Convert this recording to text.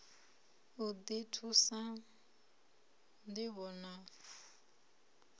u ḓi thusa ṋdivho na